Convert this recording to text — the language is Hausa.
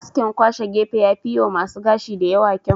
Askin kwashe gefe yafi yiwa masu gashi da yawa kyau.